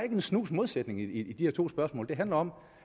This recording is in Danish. en snus modsætning i de her to spørgsmål det handler om